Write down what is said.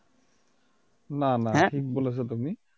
না না ঠিকই বলেছো তুমি